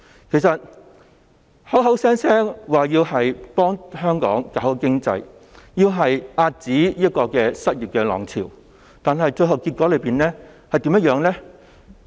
其實......他們口口聲聲說要幫香港搞好經濟、遏止失業浪潮，但最後結果怎樣？